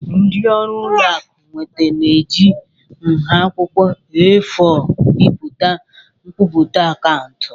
Ndị ọrụ ụlọ akụ nweta na-eji nha akwụkwọ A4 bipụta nkwupụta akaụntụ.